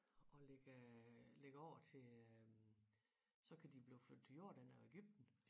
Og lægge lægge over til øh så kan de jo blive flyttet til Jordan og Egypten